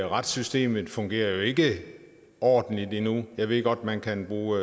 retssystemet fungerer jo ikke ordentligt endnu jeg ved godt at man kan bruge